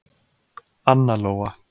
Anna Lóa.